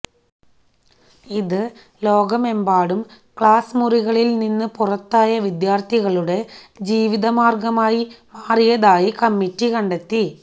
ഇത് ലോകമെമ്പാടും ക്ലാസ് മുറികളില് നിന്ന് പുറത്തായ വിദ്യാര്ത്ഥികളുടെ ജീവിതമാര്ഗമായി മാറിയതായി കമ്മിറ്റി കണ്ടെത്തി